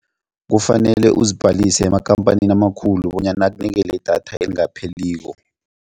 Kufanele uzibhalise emakhamphanini amakhulu bonyana akunikele idatha elingapheliko.